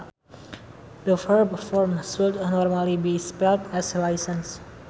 The verb form should normally be spelt as license